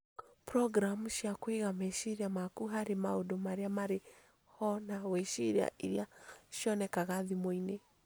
Programu cia kũiga meciria maku harĩ maũndũ marĩa marĩ ho na gwĩciria iria cionekaga thimũinĩ